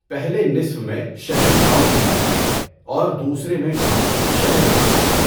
پہلے نصف میں شہر گاؤں میں جاتا ہے اور دوسرے میں گاؤں شہر میں آتا ہے۔